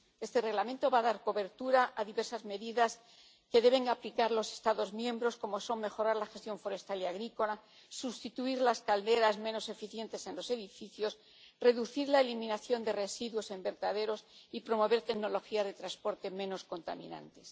Este Reglamento va a dar cobertura a diversas medidas que deben aplicar los Estados miembros, como son mejorar la gestión forestal y agrícola, sustituir las calderas menos eficientes en los edificios, reducir la eliminación de residuos en vertederos y promover tecnologías de transporte menos contaminantes.